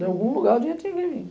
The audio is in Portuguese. De algum lugar, o dinheiro tem que vir.